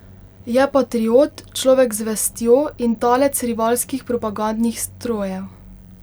Je patriot, človek z vestjo in talec rivalskih propagandnih strojev.